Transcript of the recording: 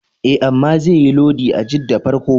E, amma zaiyi lodi a Jidda farko.